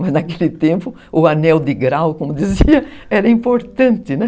Mas naquele tempo o anel de grau, como dizia, era importante, né?